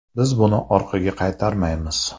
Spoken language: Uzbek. Biz buni orqaga qaytarmaymiz.